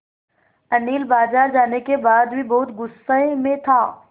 अनिल बाज़ार जाने के बाद भी बहुत गु़स्से में था